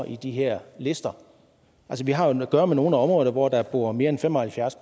i de her lister vi har jo at gøre med nogle områder hvor der bor mere end fem og halvfjerds